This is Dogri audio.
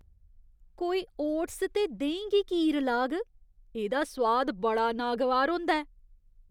कोई ओट्स ते देहीं गी की रलाग? एह्दा सोआद बड़ा नागवार होंदा ऐ।